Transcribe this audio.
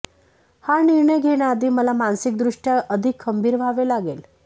हा निर्णय घेण्याआधी मला मानसिकदृष्ट्या अधिक खंबीर व्हावे लागेल